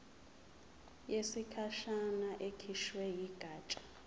yesikhashana ekhishwe yigatsha